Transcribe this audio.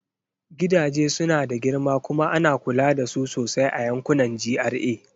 Gidaje suna da girma kuma ana kula da su sosai a yankunan GRA.